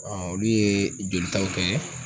olu ye jolitaw kɛ.